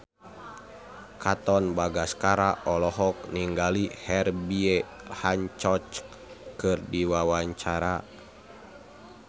Katon Bagaskara olohok ningali Herbie Hancock keur diwawancara